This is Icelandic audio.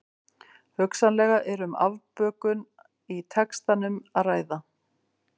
Hugsanlega er um afbökun í textanum að ræða.